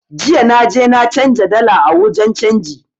Jiya na je na canza dala a wajen canji